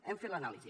hem fet l’anàlisi